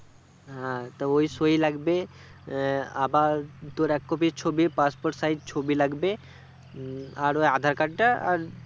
হ্যাঁ, তা ওই সৈই লাগবে আহ আবার তোর এক copy ছবি passport size ছবি লাগবে উম আর ওই aadhar card টা আর